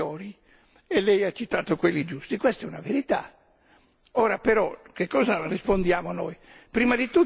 È anche vero che ci sono alcuni Stati che hanno protezioni superiori, e lei ha citato quelli giusti.